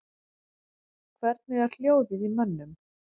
Hvernig er hljóðið í mönnum?